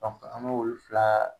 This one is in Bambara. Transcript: Dɔnku an b'olu fila